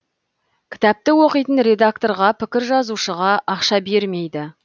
кітапты оқитын редакторға пікір жазушыға ақша бермейді